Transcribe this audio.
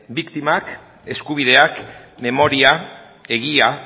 biktimak eskubideak memoria egia